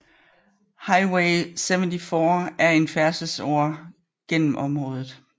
Highway 74 er en stor færdselsåre gennem området